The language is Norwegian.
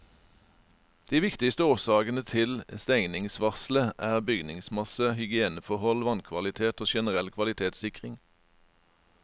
De viktigste årsakene til stengningsvarselet er bygningsmasse, hygieneforhold, vannkvalitet og generell kvalitetssikring.